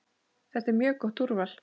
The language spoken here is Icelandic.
Þetta er mjög gott úrval.